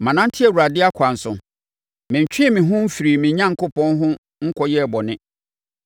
Manante Awurade akwan so. Mentwee me ho mfirii me Onyankopɔn ho nkɔyɛɛ bɔne.